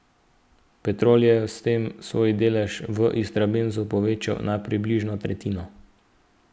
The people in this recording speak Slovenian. Petrol je s tem svoj delež v Istrabenzu povečal na približno tretjino.